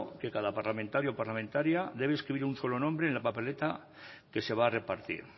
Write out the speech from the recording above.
que cada parlamentario o parlamentaria debe escribir un solo nombre en la papeleta que se va a repartir